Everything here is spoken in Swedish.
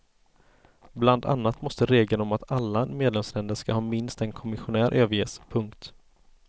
Bland annat måste regeln om att alla medlemsländer ska ha minst en kommissionär överges. punkt